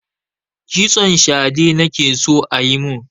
Kitson shade nake so a yi mun.